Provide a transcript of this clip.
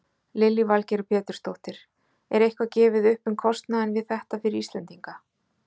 Lillý Valgerður Pétursdóttir: Er eitthvað gefið upp um kostnaðinn við þetta fyrir Íslendinga?